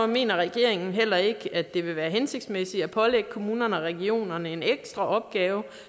mener regeringen heller ikke at det vil være hensigtsmæssigt at pålægge kommunerne og regionerne en ekstra opgave